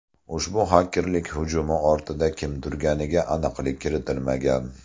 Ushbu xakerlik hujumi ortida kim turganiga aniqlik kiritilmagan.